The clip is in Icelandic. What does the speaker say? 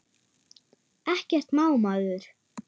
Ekkert má maður!